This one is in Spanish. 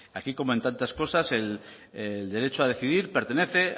aquí como en tantas cosas el derecho a decidir pertenece